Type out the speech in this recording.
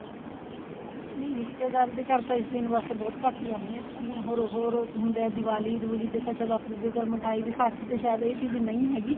ਨੀ ਰਿਸ਼ਤੇਦਾਰ ਦੇ ਘਰ ਤਾਂ ਇਸ ਦਿਨ ਵੈਸੇ ਬਹੁਤ ਘੱਟ ਈ ਜਾਨੇ ਆ ਜਿਵੇਂ ਹੋਰ ਹੋਰ ਹੁੰਦਾ ਦਿਵਾਲੀ ਦਿਵੁਲੀ ਤੇ ਤਾਂ ਆਪ ਦੂਜੇ ਘਰ ਮਿਠਾਈ ਵਿਸਾਖੀ ਤੇ ਸਾਇਦ ਇਹ ਚੀਜ਼ ਨਹੀਂ ਹੈਗੀ